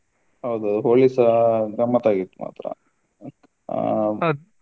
ಹೌದು Holi ಸಾ ಗಮ್ಮತ್ತ್ ಆಗಿತ್ತು ಮಾತ್ರ.